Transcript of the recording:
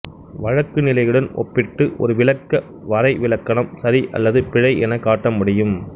வழக்கு நிலையுடன் ஒப்பிட்டு ஒரு விளக்க வரைவிலக்கணம் சரி அல்லது பிழை எனக் காட்ட முடியும்